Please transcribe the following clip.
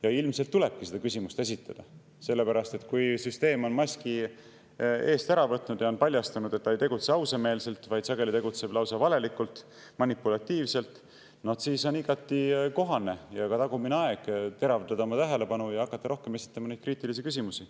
Ja ilmselt tulebki seda küsimust esitada, sellepärast et kui süsteem on maski eest ära võtnud ja paljastanud, et ta ei tegutse ausameelselt, vaid sageli tegutseb lausa valelikult ja manipulatiivselt, siis on igati kohane ja tagumine aeg teravdada tähelepanu ja hakata rohkem esitama kriitilisi küsimusi.